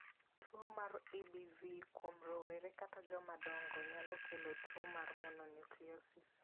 Tuwo mar EBV kuom rowere kata joma dongo nyalo kelo tuo mar mononucleosis.